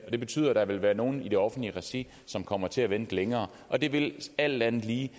og det betyder at der vil være nogle i det offentlige regi som kommer til at vente længere og det vil alt andet lige